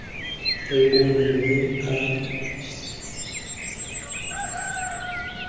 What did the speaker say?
rebole mme a ntshe tetla